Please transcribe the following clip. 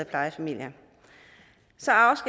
plejefamilier så